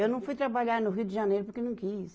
Eu não fui trabalhar no Rio de Janeiro porque não quis.